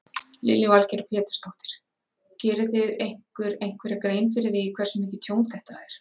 Lillý Valgerður Pétursdóttir: Gerið þið ykkur einhverja grein fyrir því hversu mikið tjón þetta er?